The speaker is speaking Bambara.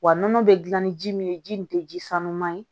Wa nɔnɔ bɛ dilan ni ji min ye ji nin tɛ ji sanuman ye